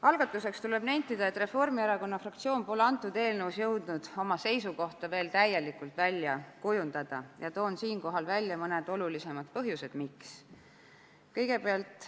" Algatuseks tuleb nentida, et Reformierakonna fraktsioon pole selle eelnõu kohta jõudnud oma seisukohta veel täielikult välja kujundada ja toon siinkohal välja mõned olulisemad põhjused, miks.